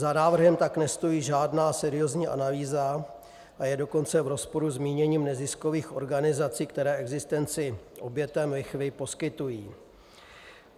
Za návrhem tak nestojí žádná seriózní analýza, a je dokonce v rozporu s míněním neziskových organizací, které existenci obětem lichvy poskytují.